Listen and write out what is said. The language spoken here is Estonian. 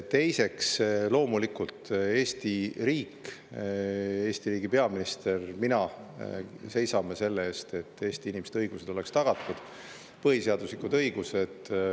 Teiseks, loomulikult Eesti riik ja Eesti riigi peaministrina mina seisame selle eest, et Eesti inimeste põhiseaduslikud õigused oleksid tagatud.